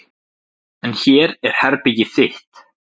En hér er herbergið þitt.